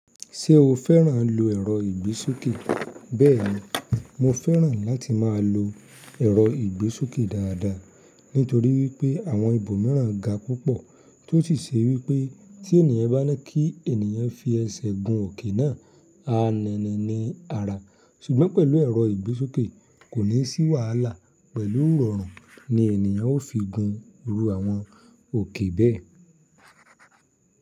Ṣé o féràn ló èrọ ìgbésókè? Bẹ́ẹ̀ni, mo féràn láti máa lo èrọ ìgbésókè dáadáa, nítorí wípé àwọn ibo mìíràn ga púpọ̀ tí ó sì ṣe wípé tí ènìyàn bá ní kí ènìyàn fi ẹsẹ̀ gun òkè náà, a nènè ní ara. Ṣùgbọ́n pẹ̀lú ẹ̀rọ ìgbésókè kò ní sí wàhálà, pẹ̀lú iròrun ni ènìyàn ó fi gun irú àwọn òkè bẹ́ẹ̀.